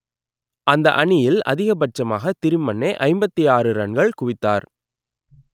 அந்த அணியில் அதிகபட்சமாக திரிமன்னே ஐம்பத்தி ஆறு ரன்கள் குவித்தார்